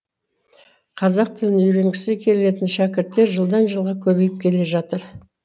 қазақ тілін үйренгісі келетін шәкірттер жылдан жылға көбейіп келе жатыр